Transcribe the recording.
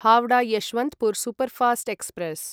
Howrah Yesvantpur superfast express